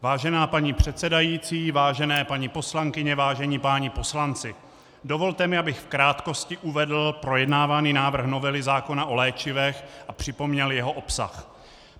Vážená paní předsedající, vážené paní poslankyně, vážení páni poslanci, dovolte mi, abych v krátkosti uvedl projednávaný návrh novely zákona o léčivech a připomněl jeho obsah.